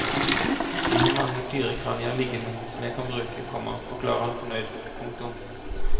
De har mange dyrekranier liggende som jeg kan bruke, komma forklarer han fornøyd. punktum